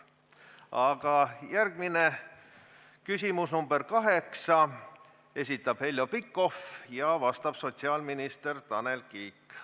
Aga järgmise küsimuse, nr 8, esitab Heljo Pikhof ja vastab sotsiaalminister Tanel Kiik.